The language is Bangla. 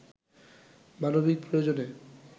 মানবিক প্রয়োজনে